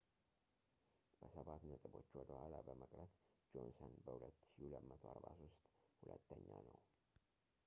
በሰባት ነጥቦች ወደ ኋላ በመቅረት ጆንሰን በ2,243 ሁለተኛ ነው